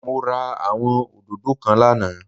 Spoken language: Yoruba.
Mo ra àwọn òdòdó kan lánàâ